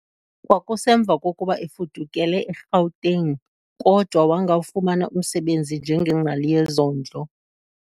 Kwakusemva kokuba efudukele e-Gauteng kodwa wangawufumana umsebenzi njengengcali yezondlo.